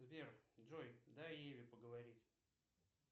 сбер джой дай ире поговорить